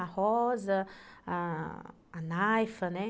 A Rosa, a Naifa, né?